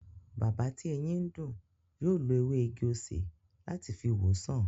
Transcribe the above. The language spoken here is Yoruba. Bàbá tí eyín ń dùn, yóò lo ewé igi-osè láti fi wo sàn